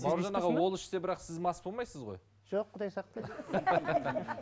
бауыржан аға ол ішсе бірақ сіз мас болмайсыз ғой жоқ құдай сақтасын